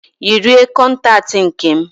Yiri aị kọntaktị nke m